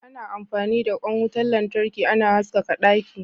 Ana amfani da kwain wutan lantarki ana haskaka daki.